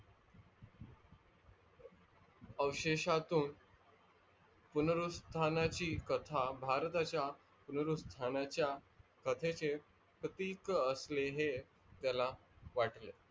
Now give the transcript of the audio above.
अवशेषतून पूर्णनृतहाणची कथा भारताच्या पूर्णनृतहानच्या कथेचे प्रतीक असले हे त्याला वाटले.